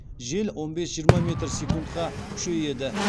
жел он бес жиырма метр секундқа күшейеді